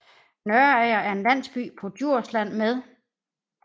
Nørager er en landsby på Djursland med